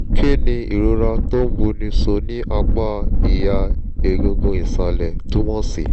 kí ni ìrora tó ń buni so ní apá ìha egungun ìsàlẹ̀ túmọ̀ sí?